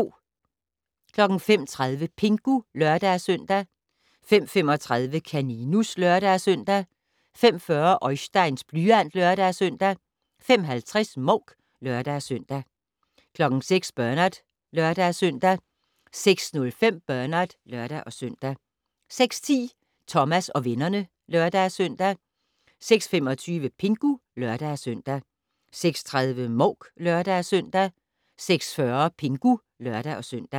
05:30: Pingu (lør-søn) 05:35: Kaninus (lør-søn) 05:40: Oisteins blyant (lør-søn) 05:50: Mouk (lør-søn) 06:00: Bernard (lør-søn) 06:05: Bernard (lør-søn) 06:10: Thomas og vennerne (lør-søn) 06:25: Pingu (lør-søn) 06:30: Mouk (lør-søn) 06:40: Pingu (lør-søn)